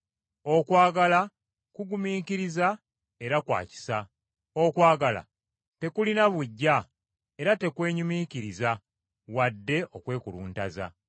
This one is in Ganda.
Okwagala kugumiikiriza era kwa kisa. Okwagala tekulina buggya era tekwenyumiikiriza wadde okwekuluntaza.